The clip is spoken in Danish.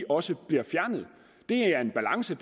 også bliver fjernet det er en balance